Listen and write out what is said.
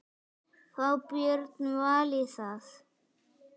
Fá Björn Val í það?